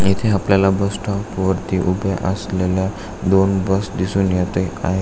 इथे आपल्याला bus stop वरती उभे असलेल्या दोन बस दिसून येत आहेत.